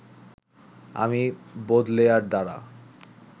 আমি বোদলেয়ার দ্বারা